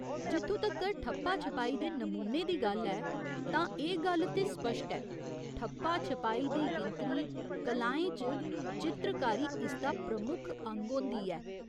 जित्थुं तक्कर ठप्पा छपाई दे नमूने दी गल्ल ऐ तां एह् गल्ल ते स्पश्ट ऐ, ठप्पा छपाई दी गिनतरी कलाएं च चित्रकारी इसदा प्रमुख अंग होंदी ऐ।